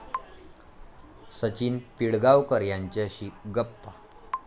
सचिन पिळगावकर यांच्याशी गप्पा